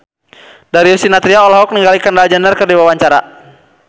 Darius Sinathrya olohok ningali Kendall Jenner keur diwawancara